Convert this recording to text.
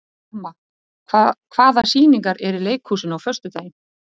Karma, hvaða sýningar eru í leikhúsinu á föstudaginn?